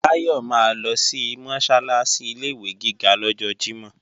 Báyọ̀ máa lọ sí Mọ́sálásí ilé-ìwé gíga lọ́jọ́ Jímọ̀